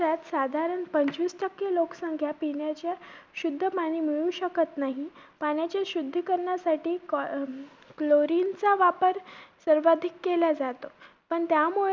साधारण पंचवीस टक्के लोकसंख्या पिण्याचे शुद्ध पाणी मिळवू शकत नाही. पाण्याचे शुद्धीकरणासाठी कोल~ अं chlorine चा वापर सर्वाधिक केला जातो. पण त्यामुळे